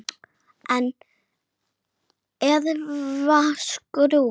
En skrúfa skrúfu?